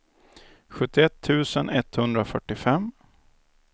sjuttioett tusen etthundrafyrtiofem